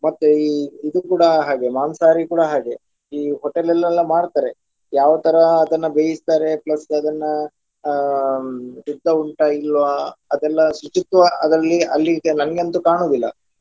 ಮತ್ತು ಈ ಇದು ಕೂಡ ಹಾಗೆಯೇ ಮಾಂಸಾಹಾರಿ ಕೂಡ ಹಾಗೆಯೇ ಈ hotel ಅಲ್ಲೆಲ್ಲ ಮಾಡ್ತಾರೆ ಯಾವ ತರ ಅದನ್ನ ಬೇಯಿಸ್ತಾರೆ plus ಅದನ್ನ ಹ್ಮ್ ಶುದ್ಧ ಉಂಟ ಇಲ್ವಾ ಅದೆಲ್ಲಾ ಶುಚಿತ್ವ ಅದರಲ್ಲಿ ಅಲ್ಲಿ ಈಗ ನನ್ಗೆ ಅಂತು ಕಾಣುವುದಿಲ್ಲ.